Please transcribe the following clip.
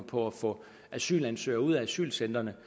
på at få asylansøgere ud af asylcentrene